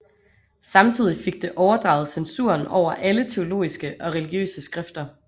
Samtidig fik det overdraget censuren over alle teologiske og religiøse skrifter